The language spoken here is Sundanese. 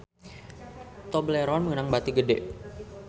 Tobleron meunang bati gede